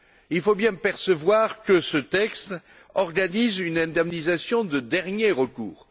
Il faut bien comprendre que ce texte organise une indemnisation de dernier recours.